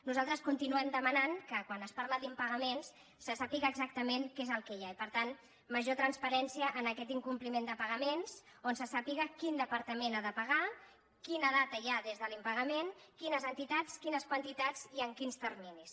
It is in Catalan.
nosaltres continuem demanant que quan es parla d’impagaments se sàpiga exactament què és el que hi ha i per tant major transparència en aquest in·compliment de pagaments on se sàpiga quin depar·tament ha de pagar quina data hi ha des de l’impa·gament quines entitats quines quantitats i en quins terminis